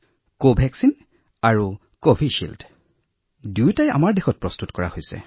কভাক্সিন আৰু কভিশ্বিল্ড যাক ইয়াত নিৰ্মাণ কৰা হৈছে